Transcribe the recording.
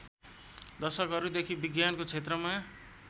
दशकहरूदेखि विज्ञानको क्षेत्रमा